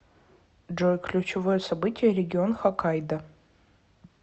джой ключевое событие регион хоккайдо